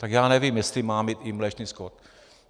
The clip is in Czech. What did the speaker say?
Tak já nevím, jestli má mít i mléčný skot.